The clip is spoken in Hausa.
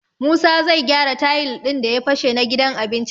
Musa zai gyara tayil ɗin da ya fashe na gidan abincin.